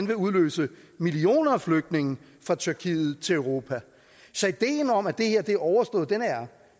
vil udløse millioner af flygtninge fra tyrkiet til europa så ideen om at det her er overstået er